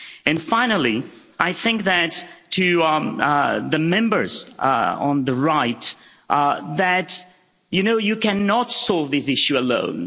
And finally, I think that to the Members on the right, you know, you cannot solve this issue alone.